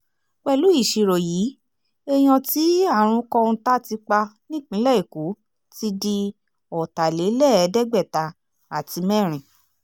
pẹ̀lú ìṣirò yìí èèyàn tí àrùn kọ́ńtà ti pa nípìnlẹ̀ èkó ti di ọ̀tàlélẹ́ẹ̀ẹ́dẹ́gbẹ̀ta àti mẹ́rin